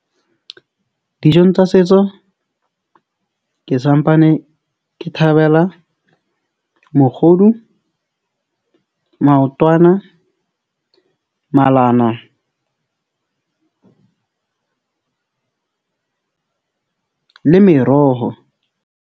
Dijong tsa setso ke sampane, ke thabela mokgodu, maotwana, malana le meroho.